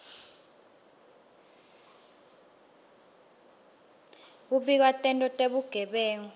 kubika tento tebugebengu